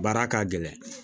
Baara ka gɛlɛn